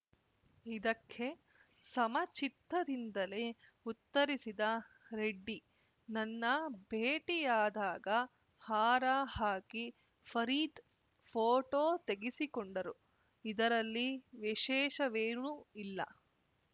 ಇದಕ್ಕೆ ಸಮಚಿತ್ತದಿಂದಲೇ ಉತ್ತರಿಸಿದ ರೆಡ್ಡಿ ನನ್ನ ಭೇಟಿಯಾದಾಗ ಹಾರ ಹಾಕಿ ಫರೀದ್‌ ಫೋಟೋ ತೆಗೆಸಿಕೊಂಡರು ಇದರಲ್ಲಿ ವಿಶೇಷವೇನೂ ಇಲ್ಲ